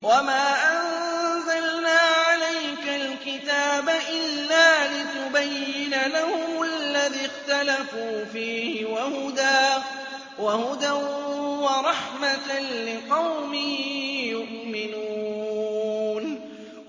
وَمَا أَنزَلْنَا عَلَيْكَ الْكِتَابَ إِلَّا لِتُبَيِّنَ لَهُمُ الَّذِي اخْتَلَفُوا فِيهِ ۙ وَهُدًى وَرَحْمَةً لِّقَوْمٍ يُؤْمِنُونَ